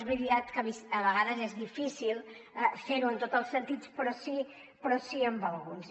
és veritat que a vegades és difícil fer ho en tots els sentits però sí amb alguns